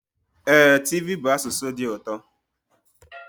Ee, tiv bụ asụsụ dị ụtọ.